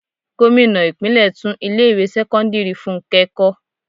Gómìnà ìpínlè tún ilé ìwé sẹ́kọ́ńdírì fúnké kó.